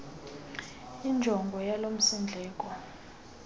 injongo yalo msindleko